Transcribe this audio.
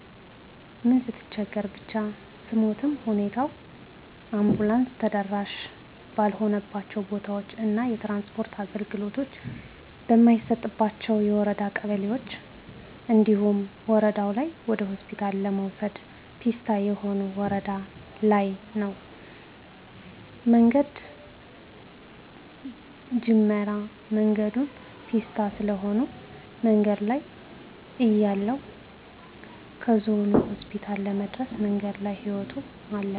ምን ስትቸገር ብቻ ስሞትም ሁኔታው አንቡላንስ ተደራሺ ባልሆነባቸው ቦታዎች እና የትራንስፖርት አገልግሎት በማይሰጥባቸው የወረዳ ቀበሌዎች እንዲሁም ወረደው ላይ ወደሆስፒታል ለመውሰድ ፔስታ የሆነበት ወረዳ ለይ ነው መንገድ ጀምራ መንገዱ ፔስታ ስለሆነ መንገድ ላይ እያለይ ከዞኑ ሆስፒታል ለመድረስ መንገድ ላይ ህይወቶ አለፈ።